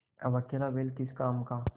अब अकेला बैल किस काम का